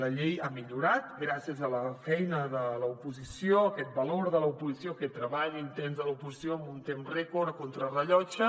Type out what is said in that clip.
la llei ha millorat gràcies a la feina de l’oposició a aquest valor de l’oposició a aquest treball intens de l’oposició en un temps rècord a contrarellotge